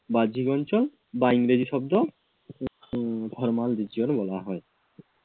বাহ্যিক অঞ্চল বা ইংরেজি শব্দ আহ formal Regional বলা হয়।